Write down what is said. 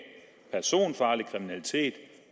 personfarlig kriminalitet